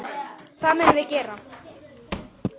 Það munum við gera.